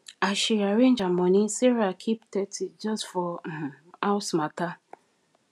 as she arrange her money sarah keep thirty just for um house matter